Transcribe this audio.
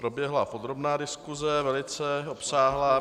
Proběhla podrobná diskuse, velice obsáhlá.